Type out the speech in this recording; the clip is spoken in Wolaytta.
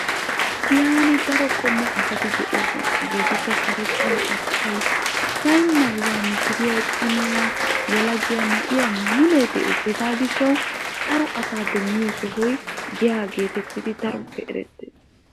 Giyan daro qommo asatti de'ossona karettay, arssay, cimay, yelagay ubbay de'ees. Hagaa gishawu daro asaa demmanawu giyay maaddees.